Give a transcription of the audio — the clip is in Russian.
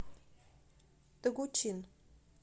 тогучин